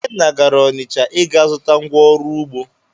Ikenna gara Ọnịcha ịga zụta ngwa oru ugbo.